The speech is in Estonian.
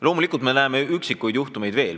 Loomulikult me näeme üksikuid kohtuasju veel.